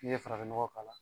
N'i ye farafin nɔgɔ k'a la